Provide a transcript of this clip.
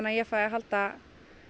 að ég fái að halda